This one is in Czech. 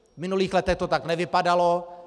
V minulých letech to tak nevypadalo.